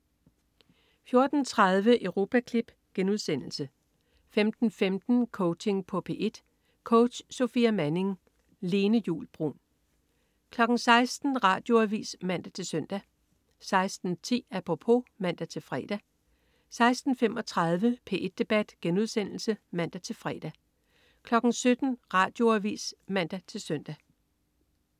14.30 Europaklip* 15.15 Coaching på P1. Coach: Sofia Manning. Lene Juul Bruun 16.00 Radioavis (man-søn) 16.10 Apropos (man-fre) 16.35 P1 Debat* (man-fre) 17.00 Radioavis (man-søn)